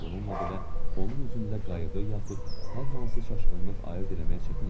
Bununla belə onun üzündə qayğı yaxud hər hansı çaşqınlıq ayırd eləmək çətin idi.